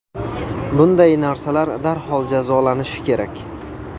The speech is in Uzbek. Bunday narsalar darhol jazolanishi kerak.